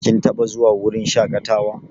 Kin taɓa zuwa wurin shaƙatawa?